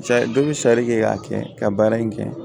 Dɔ bi sari kɛ k'a kɛ ka baara in kɛ